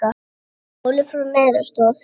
Stálu frá neyðaraðstoð